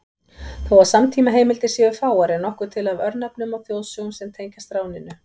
Þó að samtímaheimildir séu fáar er nokkuð til af örnefnum og þjóðsögum sem tengjast ráninu.